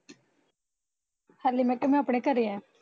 ਹਲੇ ਮੈਂ ਕਿਹਾ ਮੈਂ ਅਪਣੇ ਘਰੇ ਐ